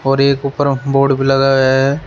और एक ऊपर बोर्ड लगा है।